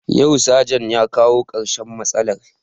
Yau sajan ya kawo karshen matsalar